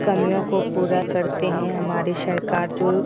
कमियों को पूरा करते हैं हमारे सरकार जो --